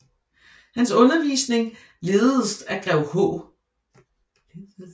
Hans undervisning lededes af grev H